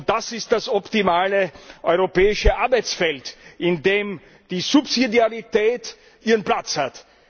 Das ist das optimale europäische Arbeitsfeld, in dem die Subsidiarität ihren Platz hat.